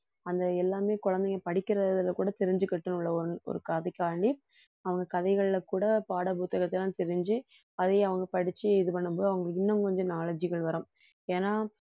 அந்த எல்லாமே குழந்தைங்க படிக்கிறதில கூட தெரிஞ்சுக்கட்டும் ஒரு கதைக்காக வேண்டி அவங்க கதைகள்ல கூட பாடப்புத்தகத்தை எல்லாம் தெரிஞ்சு அதையும் அவங்க படிச்சு இது பண்ணும்போது அவங்களுக்கு இன்னும் கொஞ்சம் knowledge கள் வரும் ஏன்னா